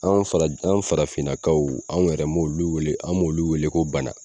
An fara an farafinnakaw anw yɛrɛ m'olu wele an m'olu wele ko bana